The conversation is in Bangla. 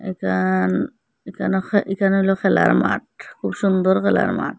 এখান এখানে হ এখানে হইল খেলার মাঠ খুব সুন্দর খেলার মাঠ।